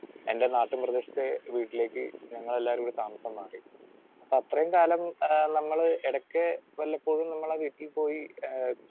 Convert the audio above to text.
Speaker 2 എൻറെ നാട്ടുമ്പ്രദേശത്തെ വീട്ടിലേക്ക് ഞങ്ങളെല്ലാവരൂടെ താമസം മാറി. അത്രയും കാലം ആഹ് നമ്മള് എടയ്ക്ക് വല്ലപ്പോഴും നമ്മടെ വീട്ടിൽ പോയി ആഹ്